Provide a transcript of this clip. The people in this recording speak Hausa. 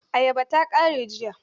Ayabar ta ƙare jiya.